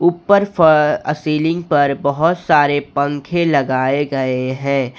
ऊपर आ सीलिंग पर बहुत सारे पंखे लगाए गए हैं।